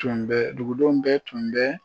Tun bɛ dugudenw bɛɛ tun bɛ